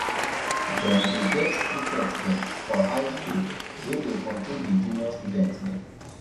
dem dey get prefect dem for high skool wey dey control di junior student dem